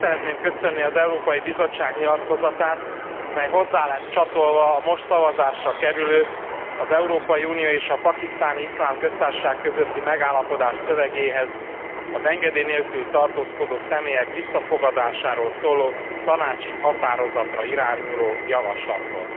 Meg szeretném köszönni az Európai Bizottság nyilatkozatát, mely hozzá lesz csatolva a most szavazásra kerülő, az Európai Unió és a Pakisztáni Iszlám Köztársaság közötti megállapodás szövegéhez az engedély nélkül tartózkodó személyek visszafogadásáról szóló tanácsi határozatra irányuló javaslatról.